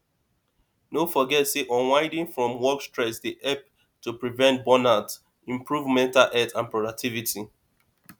no forget say unwinding from work stress dey help to prevent burnout improve mental health and productivity